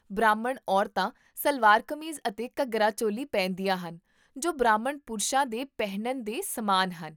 ਬ੍ਰਾਹਮਣ ਔਰਤਾਂ ਸਲਵਾਰ ਕਮੀਜ਼ ਅਤੇ ਘੱਗਰਾ ਚੋਲੀ ਪਹਿਨਦੀਆਂ ਹਨ, ਜੋ ਬ੍ਰਾਹਮਣ ਪੁਰਸ਼ਾਂ ਦੇ ਪਹਿਨਣ ਦੇ ਸਮਾਨ ਹਨ